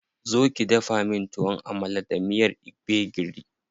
Zo ki dafa min Tuwon Amala da miyar gbegiri.